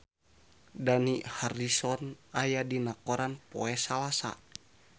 Dani Harrison aya dina koran poe Salasa